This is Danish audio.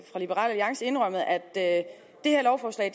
liberal alliance indrømmet at det her lovforslag